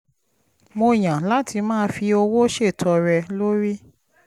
mo yàn láti máa fi owó ṣètọrẹ lórí